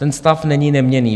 Ten stav není neměnný.